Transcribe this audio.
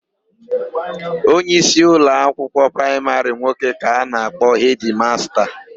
Onyeisi ụloakwụkwọ praịmarị nwoke ka a na-akpọ hedịmasta.